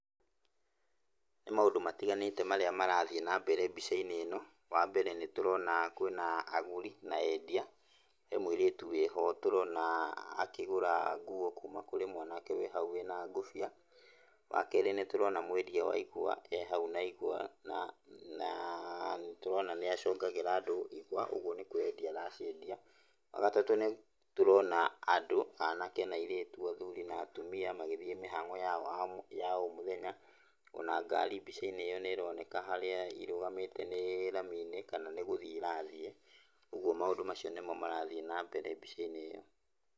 Nĩ maundũ matiganĩte marĩa marathiĩ na mbere mbica-ini ĩno. Wambere nitũrona kwĩna agũri na endia. He mũirĩtu wĩho tũrona akĩgũra nguo kuma kũrĩ mwanake wĩ hau wĩna ngũbia. Wa keri nĩtũrona mwedia wa igwa ehau na igwa na nĩtũrona nĩacongagĩra andũ igwa koguo nĩkwedia araciedia. Wa gatatũ nĩ tũrona andũ, anake na airĩtu, athuri na atumia magĩthiĩ mĩhang'o yao ya o muthenya. Ona ngari mbica-inĩ iyo nĩ ĩroneka harĩa irũgamĩte nĩ raminĩ kana nĩgũthiĩ ĩrathiĩ. Ũguo maũndũ macio nĩmo marathiĩ na mbere mbica-inĩ ĩyo.